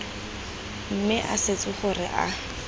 mme a swetse gore a